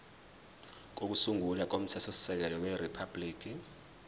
kokusungula komthethosisekelo weriphabhuliki